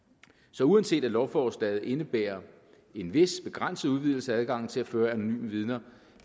så uanset at lovforslaget indebærer en vis begrænset udvidelse af adgangen til at føre anonyme vidner